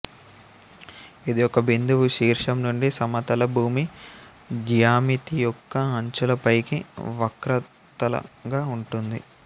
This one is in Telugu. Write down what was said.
ఇది ఒక బిందువు శీర్షం నుండి సమతల భూమి జ్యామితియొక్క అంచుల పైకి వక్రతలంగా ఉంటుంది